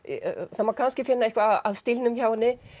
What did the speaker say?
það má kannski finna eitthvað að stílnum hjá henni